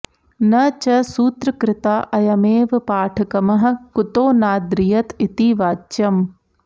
न च सूत्रकृता अयमेव पाठकमः कुतो नाद्रियत इति वाच्यम्